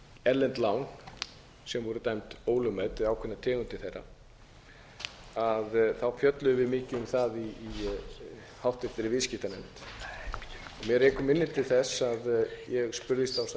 erlend lán sem voru dæmd ólögmæt eða ákveðnar tegundir þeirra fjölluðum við mikið um það í háttvirtri viðskiptanefnd mig rekur minni til þess að ég spurðist ásamt öðrum